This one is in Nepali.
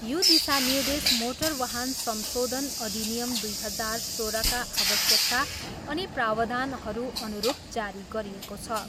यो दिशानिर्देश मोटर वाहन संशोधन अधिनियम दुई हजार सोह्रका आवश्यकता अनि प्रावधानहरूअनुरूप जारी गरिएको छ।